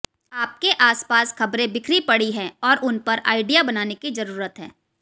आपके आसपास खबरें बिखरी पड़ी हैं और उन पर आइडिया बनाने की जरूरत है